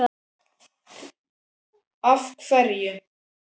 Lára: Af hverju?